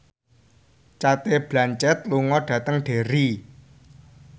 Cate Blanchett lunga dhateng Derry